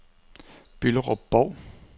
Bylderup-Bov